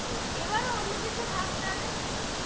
এবারও অন্য কিছু ভাব তাহলে